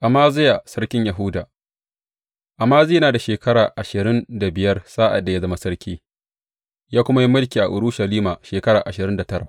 Amaziya sarkin Yahuda Amaziya yana da shekara ashirin da biyar sa’ad da ya zama sarki, ya kuma yi mulki a Urushalima shekara ashirin da tara.